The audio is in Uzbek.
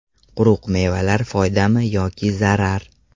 Quruq mevalar foydami yoki zarar?.